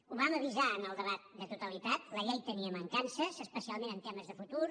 ho vam avisar en el debat de totalitat la llei tenia mancances especialment en temes de futur